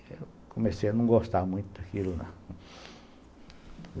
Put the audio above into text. Eu comecei a não gostar muito daquilo, lá.